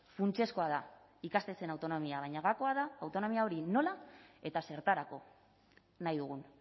funtsezkoa da ikastetxeen autonomia baina gakoa da autonomia hori nola eta zertarako nahi dugun